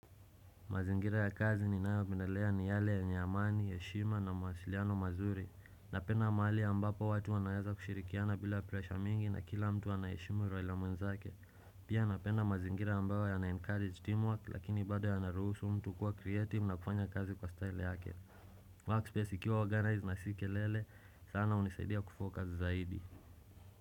Mazingira ya kazi ninayopendelea ni yale yenye amani, heshima na mawasiliano mazuri. Napenda mahali ambapo watu wanaeza kushirikiana bila presha mingi na kila mtu anaheshimu raia mwenzake Pia napenda mazingira ambayo yanaencourage teamwork lakini bado yanaruhusu mtu kuwa creative na kufanya kazi kwa style yake. Workspace ikiwa organized na si kelele sana hunisaidia kufocus zaidi.